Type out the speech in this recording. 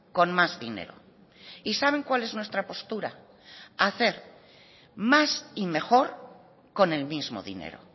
con más dinero y saben cuál es nuestra postura hacer más y mejor con el mismo dinero